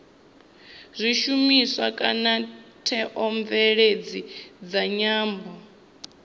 zwishumiswa kana theomveledziso dza nyambo